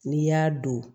N'i y'a don